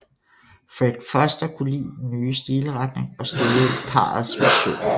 Fred Foster kunne lide den nye stilretning og støttede parrets vision